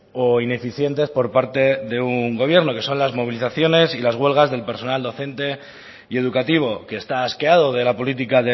o ineficientes por parte de un gobierno que son las movilizaciones y las huelgas del personal docente y educativo que está asqueado de la política